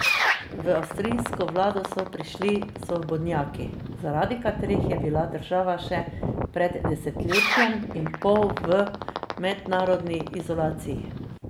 V avstrijsko vlado so prišli svobodnjaki, zaradi katerih je bila država še pred desetletjem in pol v mednarodni izolaciji.